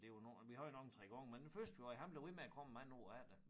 Men det var nu vi havde nok en 3 gange men den første vi havde han blev ved med at komme mange år efter